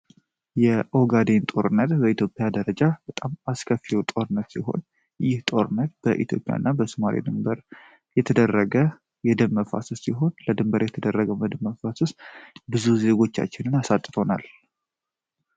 የኦጋዴን ጦርነት በኢትዮጵያ ደረጃ በጣም አስከፊው ጦርነት ሲሆን ይህ ጦርነት በኢትዮጵያ እና በሶማሌ ድንበር የተደረገ የደም መፋሰስ ሲሆን ለድንበር የተደረገው የደም መፋሰስ ብዙ ዜጎቻችንን አሳጥቶናል።